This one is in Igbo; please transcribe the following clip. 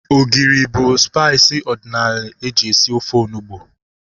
Ogiri bụ spaiis ọdịnala eji esi ofe onugbu